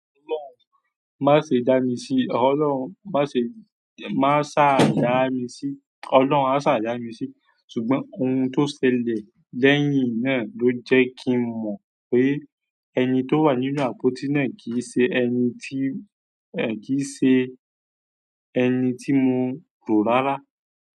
Má ṣe dá mi sí, ọlọ́run má ṣe, má sá dá mi sí, ọlọ́run a sá dá mi sí, ṣùgbọ́n ohun tó ṣẹlẹ̀ lẹ́yìn náà ló jẹ́ kí n mọ̀ pé ẹni tó wà nínú àpótí náà kì í ṣe ẹni tí, ẹ kì í ṣe ẹni ti mo ko rara.